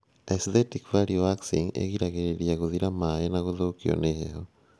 Aesthetic value waxing ĩgiragĩrĩria gũthira maĩ na gũthũkio nĩ heho